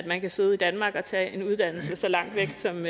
at man kan sidde i danmark og tage en uddannelse så langt væk som